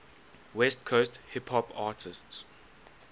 west coast hip hop artists